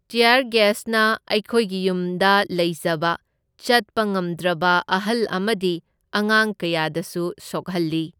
ꯇ꯭ꯌꯥꯔ ꯒꯦꯁꯅ ꯑꯩꯈꯣꯏꯒꯤ ꯌꯨꯝꯗ ꯂꯩꯖꯕ ꯆꯠꯄ ꯉꯝꯗ꯭ꯔꯕ ꯑꯍꯜ ꯑꯃꯗꯤ ꯑꯉꯥꯡ ꯀꯌꯥꯗꯁꯨ ꯁꯣꯛꯍꯜꯂꯤ꯫